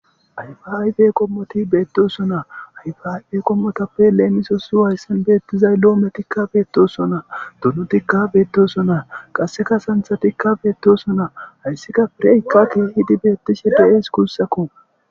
Ayfa ayfe qommoti beettoosonaa ayfa ayfe qommotappe leemiso su wayssen beettizay loometikka beettosonaa dunutikka beettoso naa qasseka santhatikka beettosonaa hayssika fireykkakee hidi beettishe de7ees gussakko.